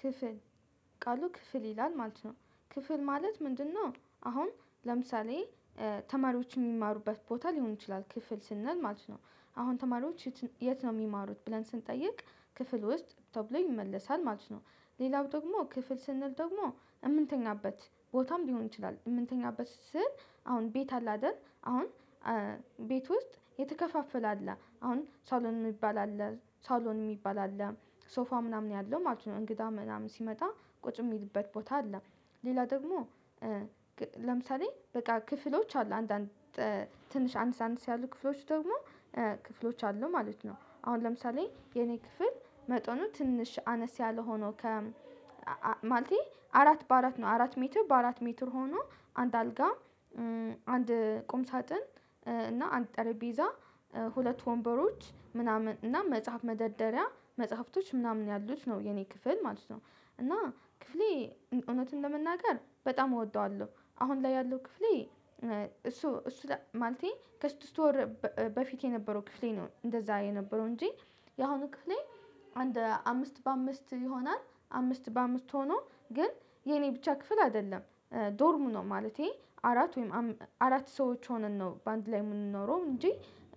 ክፍል ቃሉ ክፍል ይላል ማለት ነው። ክፍል ማለት ምንድነው? አሁን ለምሳሌ ተማሪዎች የሚማሩበት ቦታ ሊሆን ይችላል ክፍል ስንል ማለት ነው። አሁን ተማሪዎች የት ነው የሚማሩት ብለን ስንጠይቅ ክፍል ውስጥ ተብሎ ይመለሳል ማለት ነው። ሌላው ደግሞ ክፍል ስንል ደግሞ እምንተኛበት ቦታም ቢሆን ይችላል እምንተኛበት ስል አሁን ቤት አለ አይደል አሁን። ቤት ውስጥ የተከፋፈለ አለ አሁን ሳሎን ሚባል አለ ሳሎን ሚባል አለ። ሶፋ ምናምን ያለው ማለት ነው እንግዳ ምናምን ሲመጣ ቁጭ የሚልበት ቦታ አለ። ሌላ ደግሞ። ለምሳሌ በቃ ክፍሎች አሉ አንዳንድ ትንሽ አነሰ አነስ ያሉ ክፍሎች ደግሞ ክፍሎች አሉ ማለት ነው። አሁን ለምሳሌ የኔ ክፍል መጠኑ ትንሽ አነስ ያለ ሆኖ ከ ማለቴ አራት በአራት ነው። አራት ሜትር በአራት ሜትር ሆኖ አንድ አልጋ አንድ ቁም ሳጥን እና አንድ ጠረጴዛ ሁለት ወንበሮች ምናምን እና መጽሐፍ መደርደሪያ መጽሐፍቶች ምናምን ያሉት ነው የኔ ክፍል ማለት ነው። እና ክፍሌ እውነቱን ለመናገር በጣም እወደዋለሁ አሁን ላይ ያለው ክፍሌ። እሱ እሱ ማለቴ ከስድስት ወር በፊት የነበረው ክፍሌ ነው እንደዛ የነበረው እንጂ። የአሁኑ ክፍሌ አንድ አምስት በአምስት ይሆናል አምስት በአምስት ሆኖ ግን የኔ ብቻ ክፍል አይደለም። ዶርሙ ነው ማለቴ አራት ወይም አራት ሰዎች ሆነን ነው በአንድ ላይ የምንኖረው እንጂ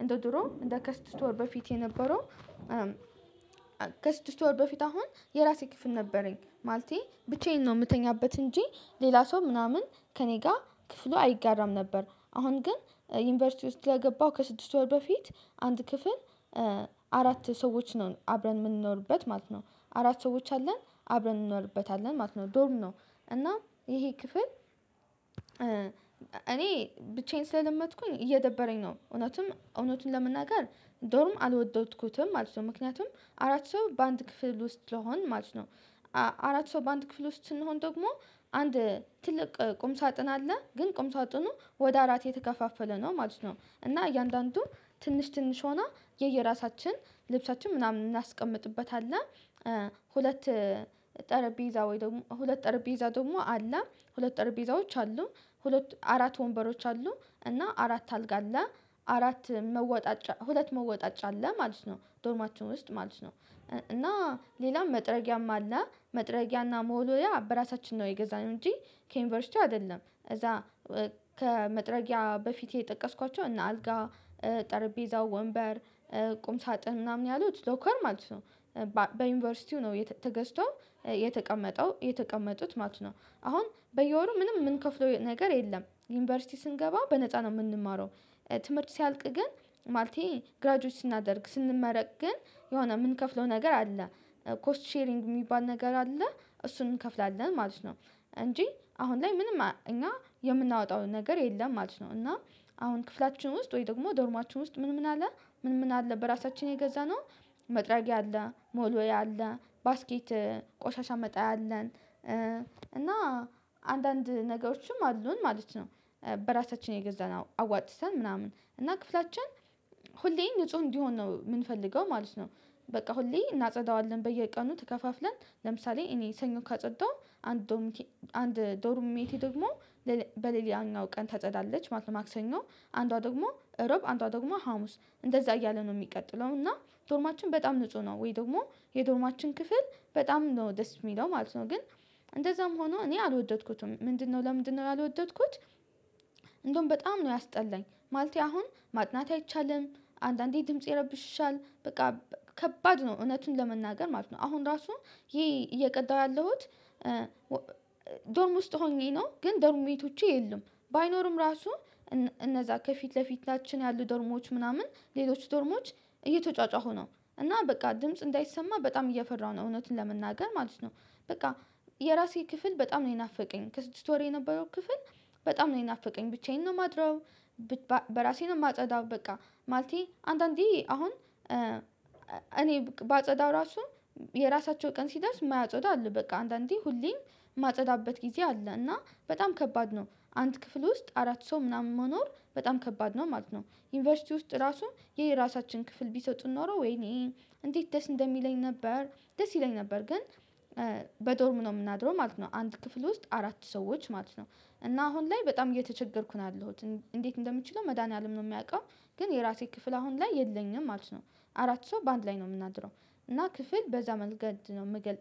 እንደ ድሮ እንደ ከስድስት ወር በፊት የነበረው። ከስድስት ወር በፊት አሁን የራሴ ክፍል ነበረኝ ማለቴ ብቻዬን ነው የምተኛበት እንጂ ሌላ ሰው ምናምን ከእኔ ጋር ክፍሉ አይጋራም ነበር። አሁን ግን ዩኒቨርሲቲ ውስጥ ስለገባው ከስድስት ወር በፊት አንድ ክፍል አራት ሰዎች ነው አብረን የምንኖርበት ማለት ነው አራት ሰዎች አለን አብረን እንኖርበታለን ማለት ነው ዶርም ነው። እና ይሄ ክፍል እኔ ብቻዬን ስለለመድኩኝ እየደበረኝ ነው እውነትም እውነቱን ለመናገር ዶርም አልወደድኩትም ማለት ነው። ምክንያቱም አራት ሰው በአንድ ክፍል ውስጥ ስለሆን ማለት ነው። አራት ሰው በአንድ ክፍል ውስጥ ስንሆን ደግሞ አንድ ትልቅ ቁም ሳጥን አለ ግን ቁም ሳጥኑ ወደ አራት የተከፋፈለ ነው ማለት ነው። እና እያንዳንዱ ትንሽ ትንሽ ሆና የየራሳችን ልብሳችን ምናምን እናስቀምጥበታለን። ሁለት ሁለት አረቤዛ ደግሞ አላ ሁለት አረቤዛዎች አሉ። አራት ወንበሮች አሉ እና አራት አልጋ አለ አራት መወጣጫ ሁለት መወጣጫ አለ ማለት ነው ዶርማችን ውስጥ ማለት ነው። እና ሌላም መጥረጊያም አለ መጥረጊያና መወልወያ በራሳችን ነው የገዛነው እንጂ ከዩኒቨርሲቲ አይደለም። እዛ ከመጥረጊያ በፊቴ የጠቀስኳቸው እነ አልጋ ጠርቤዛው ወንበር ቁም ሳጥን ምናምን ያሉት ሎከር ማለት ነው። በዩኒቨርሲቲው ነው ተገዝቶ የተቀመጠው የተቀመጡት ማለት ነው። አሁን በየወሩ ምንም የምንከፍለው ነገር የለም ዩኒቨርሲቲ ስንገባ በነፃ ነው የምንማረው። ትምህርት ሲያልቅ ግን ማለቴ ግራጁዌት ስናደርግ ስንመረቅ ግን የሆነ የምንከፍለው ነገር አለ። ኮስት ሼሪንግ የሚባል ነገር አለ እሱን እንከፍላለን ማለት ነው። እንጂ አሁን ላይ ምንም እኛ የምናወጣውን ነገር የለም ማለት ነው። እና አሁን ክፍላችን ውስጥ ወይ ደግሞ ዶርማችን ውስጥ ምን ምን አለ? ምን ምን አለ በራሳችን የገዛነው መጥሪያጊ መወልወያ አለ ባስኬት ቆሻሻ መጣያ አለን። እና አንዳንድ ነገሮችም አሉን ማለት ነው። በራሳችን የገዛን አዋጥተን ምናምን እና ክፍላችን ሁሌ ንጹህ እንዲሆን ነው የምንፈልገው ማለት ነው። በቃ ሁሌ እናጸዳዋለን በየቀኑ ተከፋፍለን ለምሳሌ እኔ ሰኞ ካጸዳው። አንድ አንድ ዶርም ሜቴ ደግሞ በሌሊያኛው ቀን ታጸዳለች ማለት ነው። ማክሰኞ አንዷ ደግሞ እሮብ አንዷ ደግሞ ሀሙስ እንደዛ እያለ ነው ሚቀጥለው እና። ዶርማችን በጣም ንጹህ ነው ወይ ደግሞ የዶርማችን ክፍል በጣም ነው ደስ የሚለው ማለት ነው። ግን እንደዛም ሆኖ እኔ አልወደድኩትም ምንድነው ለምንድነው ያልወደድኩት? እንደውም በጣም ነው ያስጠላኝ ማለቴ አሁን ማጥናት አይቻልም። አንዳንዴ ድምጽ ይረብሽሻል በቃ ከባድ ነው እውነቱን ለመናገር ማለት ነው። አሁን ራሱ ይሄ እየቀዳሁ ያለሁት ዶርም ውስጥ ሆኜ ነው። ግን ዶርም ሜቾቼ የሉም። ባይኖርም ራሱ እነዛ ከፊት ለፊታችን ያሉ ደርሞዎች ምናምን ሌሎች ዶርሞች እየተጫጫሁ ነው። እና በቃ ድምጽ እንዳይሰማ በጣም እየፈራሁ ነው እውነትን ለመናገር ማለት ነው። በቃ የራሴ ክፍል በጣም ነው የናፈቀኝ ከስድስት ወር የነበረው ክፍል። በጣም ነው የናፈቀኝ ብቻዬን ነው የማድረው። በራሴ ነው የማጸዳው በቃ ማለቴ አንዳንዴ አሁን እኔ ባጸዳው ራሱ የራሳቸው ቀን ሲደርስ ማያጸዱ አሉ በቃ አንዳንዴ ሁሌም ማጸዳበት ጊዜ አለ እና በጣም ከባድ ነው። አንድ ክፍል ውስጥ አራት ሰው ምናምን መኖር በጣም ከባድ ነው ማለት ነው። ዩኒቨርሲቲ ውስጥ ራሱ ይሄ ራሳችን ክፍል ቢሰጡን ኖሮ ወይኔ እንዴት ደስ እንደሚለኝ ነበር። ደስ ይለኝ ነበር። ግን በዶርም ነው ምናድረው ማለት ነው አንድ ክፍል ውስጥ አራት ሰዎች ማለት ነው። እና አሁን ላይ በጣም እየተቸገርኩን ያለሁት እንዴት እንደምችለው መድኃኒዓለም ነው የሚያውቀው። ግን የራሴ ክፍል አሁን ላይ የለኝም ማለት ነው። አራት ሰው በአንድ ላይ ነው የምናድረው። እና ክፍል በዛ መንገድ ነው ምገል